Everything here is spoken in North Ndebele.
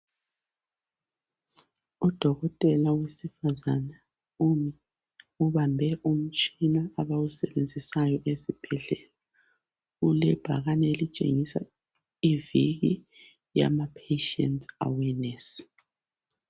Udokotela wesifazane umi ubambe umtshina abawusebenzisayo esibhedlela. Kulebhakane elitshengisa iviki yamapatient awareness.